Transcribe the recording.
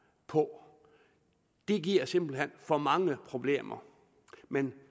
på det giver simpelt hen for mange problemer men